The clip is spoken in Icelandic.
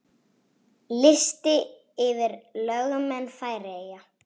Listi yfir lögmenn Færeyja